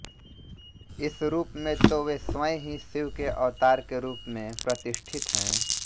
इस रूप में तो वे स्वयं ही शिव के अवतार के रूप में प्रतिष्ठित हैं